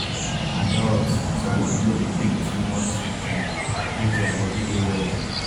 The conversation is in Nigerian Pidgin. adults suppose no dey take too much sweet drink make their body dey well.